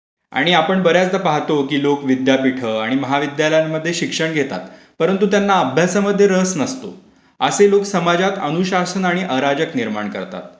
आणि आपण बर् याचदा पाहतो की लोक विद्यापीठ आणि महाविद्यालयांमध्ये शिक्षण घेतात परंतु त्यांना अभ्यासमध्ये रस नसतो. असे लोक समाजात अनुशासन आणि अराजक निर्माण करतात.